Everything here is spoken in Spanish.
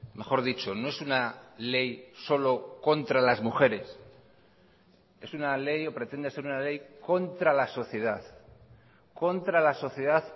mejor dicho no es una ley solo contra las mujeres es una ley o pretende ser una ley contra la sociedad contra la sociedad